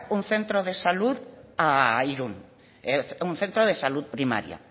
un centro de salud a irun un centro de salud primaria